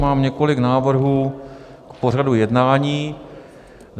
Mám několik návrhů k pořadu jednání.